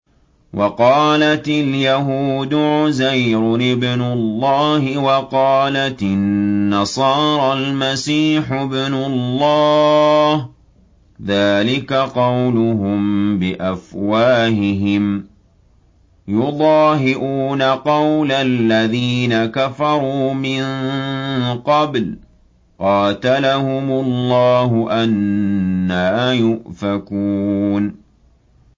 وَقَالَتِ الْيَهُودُ عُزَيْرٌ ابْنُ اللَّهِ وَقَالَتِ النَّصَارَى الْمَسِيحُ ابْنُ اللَّهِ ۖ ذَٰلِكَ قَوْلُهُم بِأَفْوَاهِهِمْ ۖ يُضَاهِئُونَ قَوْلَ الَّذِينَ كَفَرُوا مِن قَبْلُ ۚ قَاتَلَهُمُ اللَّهُ ۚ أَنَّىٰ يُؤْفَكُونَ